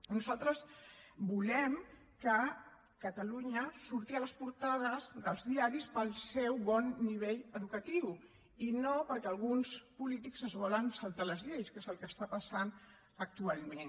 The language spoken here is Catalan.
nosaltres volem que catalunya surti a les portades dels diaris pel seu bon nivell educatiu i no perquè alguns polítics es volen saltar les lleis que és el que està passant actualment